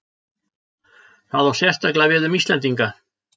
Það á sérstaklega við um Íslendinga